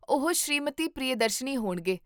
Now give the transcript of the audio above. ਉਹ ਸ਼੍ਰੀਮਤੀ ਪ੍ਰਿਯਦਰਸ਼ਨੀ ਹੋਣਗੇ